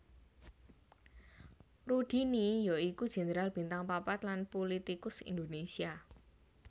Rudini ya iku jenderal bintang papat lan pulitikus Indonésia